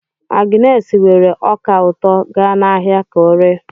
Agnes weere ọka ụtọ ga n'ahịa ka oree.